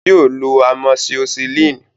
Yóò lo amoxicillin.